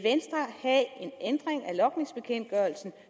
ændring af logningsbekendtgørelsen